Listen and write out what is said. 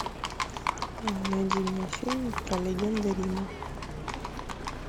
найди мне фильм про легенды рима